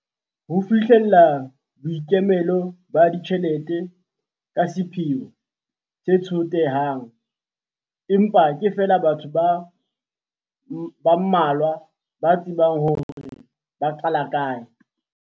Ho fihlella boikemelo ba ditjhelete ke sepheo se tsotehang, empa ke feela batho ba mmalwa ba tsebang hore ba qala kae.